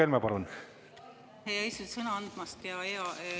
Aitäh, hea eesistuja, sõna andmast!